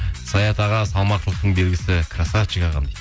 саят аға салмақтылықтың белгісі красавчик ағам дейді